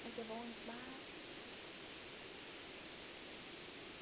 Mas é bom demais.